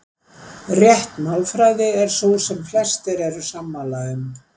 Rétt málfræði er sú sem flestir eru sammála um.